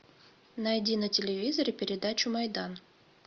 найди на телевизоре передачу майдан